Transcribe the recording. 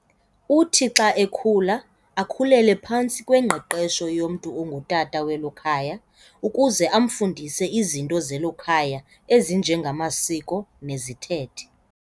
Uthi xa ekhula akhulele phantsi kwengqeqesho yomntu ongu tata welo khaya ukuze amfundise izinto zelo khaya ezinje ngamasiko nezithethe.